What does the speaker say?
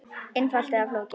Einfalt eða flókið?